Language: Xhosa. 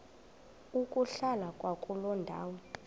ukuhlala kwakuloo ndawo